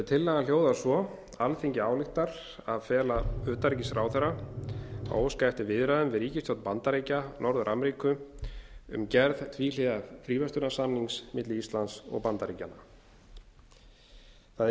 tillagan hljóðar svo alþingi ályktar að fela utanríkisráðherra að óska eftir viðræðum við ríkisstjórn bandaríkja norður ameríku um gerð tvíhliða fríverslunarsamnings milli íslands og bandaríkjanna það er